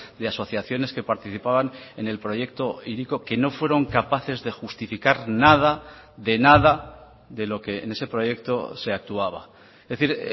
de asociaciones que participaban en el proyecto hiriko que no fueron capaces de justificar nada de nada de lo que en ese proyecto se actuaba es decir